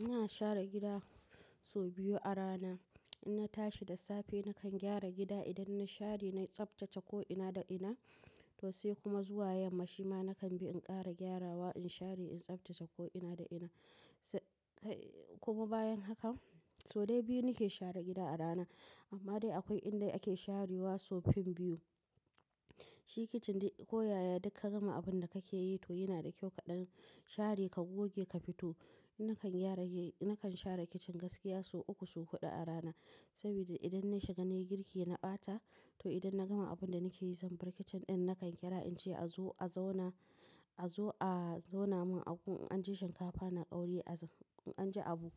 Ina share gida sau biyu a rana. In na tashi da safe nakan gyara gida idan na share, na tsaftace ko ina da ina. To sai kuma zuwa yamma shi ma nakan bi in ƙara gyarawa, in share, in tsaftace ko ina da ina. Sai kuma bayan haka. So dai biyu nake share gida a rana. Amma dai akwai inda ake sharewa sau fin biyu. Shi kicin dai ko yaya duk ka gama abun da kake yi to yana da kyau kaɗan share ka goge ka fito. Nakan gyara, nakan share kicin gaskiya sau uku, sau huɗu a rana. Saboda idan na shiga na yi girki na ɓata. To idan na gama abun da nake yi zan bar kicin ɗin nakan kira in ce a zo a zauna, a zo a zauna mun in an ci shinkafa na ƙaure as in in an ji abu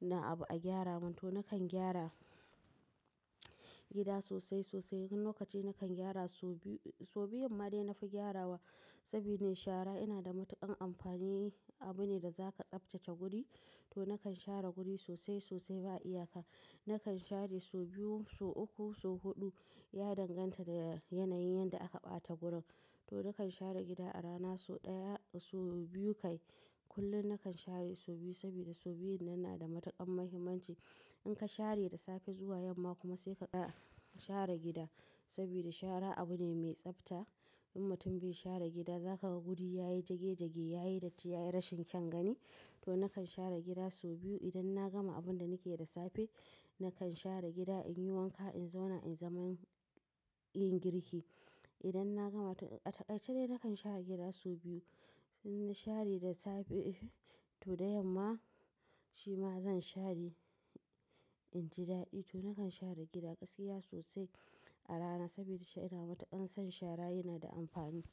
na abu a gyara mun. To nakan gyara gida sosai, sosai. Wani lokaci nakan gyara sau biyu, sau biyun ma dai na fi gyarawa saboda shara yana da matuƙan amfani. Abu ne da zaka tsaftace guri. To nakan share guri sosai, sosai ba iyaka. Nakan share sau biyu, sau uku, sau huɗu. Ya danganta da yanayin yadda aka ɓata gurin. To nakan share gida a rana sau ɗaya, sau biyu kai. Kullum nakan share sau biyu sabida sau biyun nan na da matuƙan muhimmanci. In ka share da safe zuwa yamma kuma sai ka ƙara share gida. Sabida shara abu ne mai tsafta. In mutum bai share gida za ka ga guri yayi jagejage, yayi datti, yayi rashin kyan gani. To nakan share gida sau biyu idan na gama abun da nake yi da safe. Nakan share gida in yi wanka, in zauna in zaman yin girki. Idan na gama to a takaice dai nakan share gida sau biyu. In na share da safe to da yamma shi ma zan share in ji daɗi. To nakan share gida gaskiya sosai a rana sabi da shaida matuƙan son shara yana da amfani.